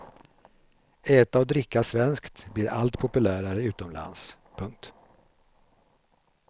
Äta och dricka svenskt blir allt populärare utomlands. punkt